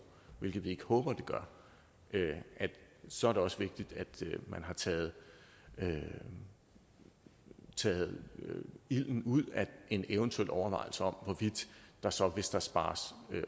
hvilket vi ikke håber den gør så er det også vigtigt at man har taget ilden taget ilden ud af en eventuel overvejelse om hvorvidt der så hvis der spares